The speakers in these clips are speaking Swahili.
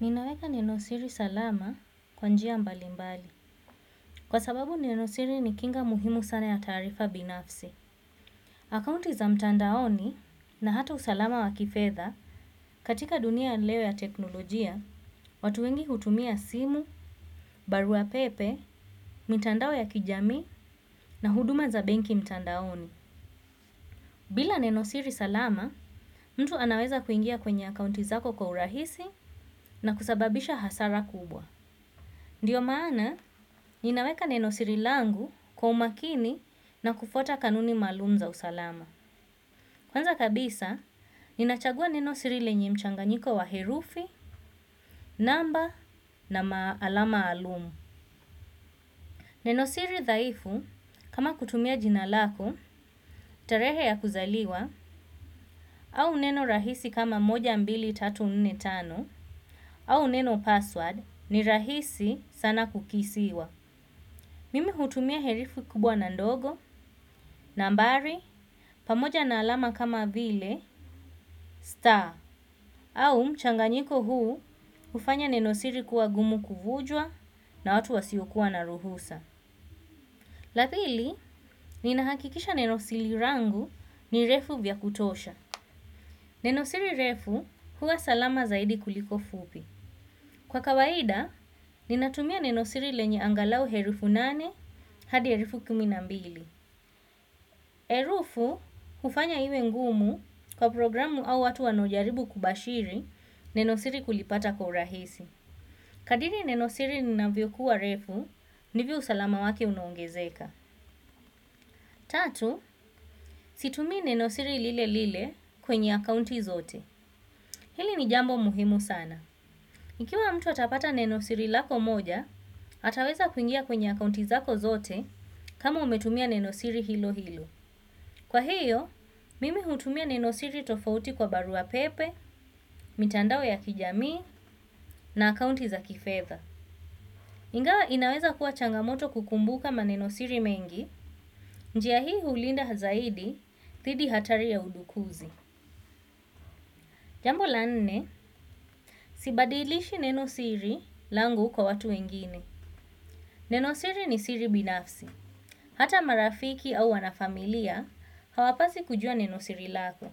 Ninaweka neno siri salama kwa njia mbali mbali. Kwa sababu neno siri ni kinga muhimu sana ya taarifa binafsi. Akaunti za mtandaoni na hata usalama wa kifedha katika dunia ya leo ya teknolojia, watu wengi hutumia simu, barua pepe, mitandao ya kijamii na huduma za benki mtandaoni. Bila neno siri salama, mru anaweza kuingia kwenye akaunti zako kiurahisi na kusababisha hasara kubwa. Ndiyo maana, ninaweka neno siri langu kwa umakini na kufuata kanuni maalumu za usalama. Kwanza kabisa, ninachagua neno siri lenye mchanganyiko wa herufi, namba na alama maalumu. Neno siri dhaifu, kama kutumia jina lako, tarehe ya kuzaliwa, au neno rahisi kama moja mbili tatu nne tano, au neno password ni rahisi sana kukisiwa. Mimi hutumia herufi kubwa na ndogo, nambari, pamoja na alama kama vile, star, au mchanganyiko huu hufanya neno siri kuwa gumu kuvunjwa na watu wasio kua na ruhusa. La pili, ninahakikisha neno siri langu ni refu vya kutosha. Neno siri refu huwa salama zaidi kuliko fupi. Kwa kawaida, ninatumia neno siri lenye angalau herufi nane hadi herufi kumi na mbili. Herufi, hufanya iwe ngumu kwa programu au watu wanaojaribu kubashiri neno siri kulipata kwa urahisi. Kadri neno siri linavyo kuwa refu, ndivyo usalama wake unaongezeka. Tatu, situmii neno siri lile lile kwenye akaunti zote. Hili ni jambo muhimu sana. Ikiwa mtu atapata neno siri lako moja, ataweza kuingia kwenye akaunti zako zote kama umetumia neno siri hilo hilo. Kwa hiyo, mimi hutumia neno siri tofauti kwa barua pepe, mitandao ya kijamii na akaunti za kifedha. Ingawa inaweza kuwa changamoto kukumbuka maneno siri mengi, njia hii hulinda zaidi, dhidi hatari ya udukuzi. Jambo la nne, sibadilishi neno siri langu kwa watu wengine. Nenosiri ni siri binafsi. Hata marafiki au wanafamilia, hawapaswi kujua neno siri lako.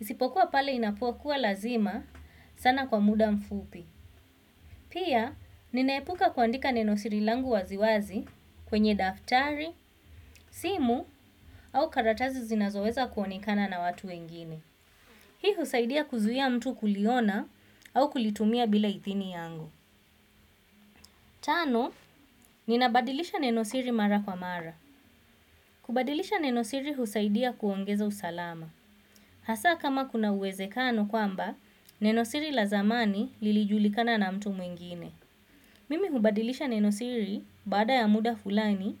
Isipokuwa pale i apokuwa lazima sana kwa muda mfupi. Pia, ninaepuka kuandika neno siri langu waziwazi kwenye daftari, simu au karatasi zinazoweza kuonekana na watu wengine. Hii husaidia kuzuia mtu kuliona au kulitumia bila ithini yangu. Tano, ninabadilisha neno siri mara kwa mara. Kubadilisha nenosiri husaidia kuongeza usalama. Hasa kama kuna uwezekano kwamba, neno siri la zamani lilijulikana na mtu mwingine. Mimi hubadilisha neno siri bada ya muda fulani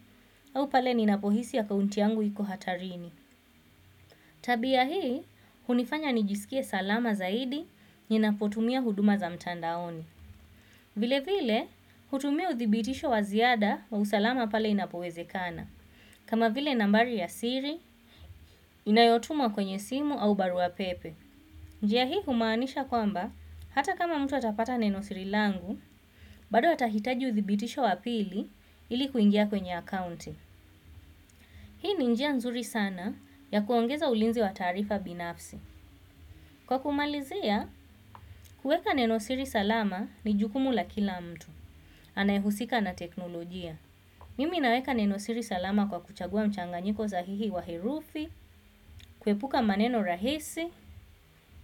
au pale ninapohisi akaunti yangu iko hatarini. Tabi hii, hunifanya nijisikie salama zaidi ninapotumia huduma za mtandaoni. Vile vile, hutumia uthibitisho wa ziada wa usalama pale inapowezekana. Kama vile nambari ya siri, inayotumwa kwenye simu au barua pepe. Njia hii kumaanisha kwamba, hata kama mtu atapata neno siri langu, bado atahitaji uthibitisho wa pili ili kuingia kwenye akaunti. Hii ni njia nzuri sana ya kuongeza ulinzi wa taarifa binafsi. Kwa kumalizia, kueka neno siri salama ni jukumu la kila mtu. Anaehusika na teknolojia. Mimi naweka neno siri salama kwa kuchagua mchanganyiko sahihi wa herufi, kuepuka maneno rahisi,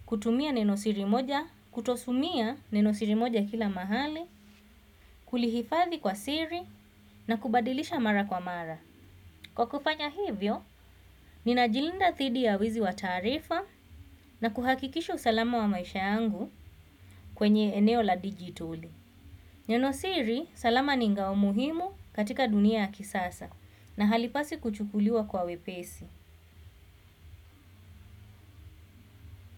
kutumia neno siri moja, kutotumia neno siri moja kila mahali, kulihifathi kwa siri, na kubadilisha mara kwa mara. Kwa kufanya hivyo, ninajilinda dhidi ya wizi wa taarifa na kuhakikisha usalama wa maisha yangu kwenye eneo la digital. Neno siri salama ni ngao muhimu katika dunia ya kisasa na halipaswi kuchukuliwa kwa wepesi.